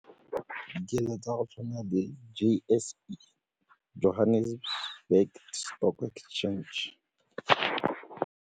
Ke dilo tsa go tshwana di-J_S_E Johannesburg Stock Exchange.